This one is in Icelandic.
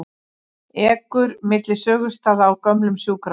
Ekur milli sögustaða á gömlum sjúkrabíl